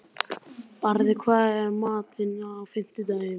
Barði, hvað er í matinn á fimmtudaginn?